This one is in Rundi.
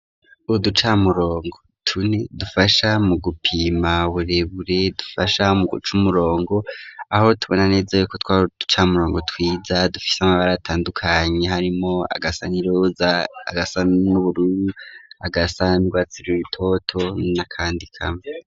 Uducamurongo tune, dufasha mu gupima, uburebure, dufasha mu guca umurongo; aho tubona neza y'uko, twari uducamurongo twiza, dufise amabara, atandukanye; harimwo agasa n'iroza, agasa n'ubururu, agasa n'urwatsi rutoto n'akandi kamwe.